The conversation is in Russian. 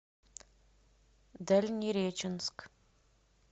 дальнереченск